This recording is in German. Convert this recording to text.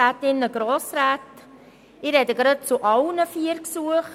Ich spreche gleich zu allen vier Gesuchen.